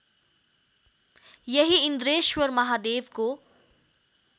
यही इन्द्रेश्वर महादेवको